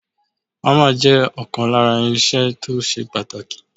Ámà jẹ́ ọ̀kan lára irinṣẹ́ tó ṣe pàtàkì.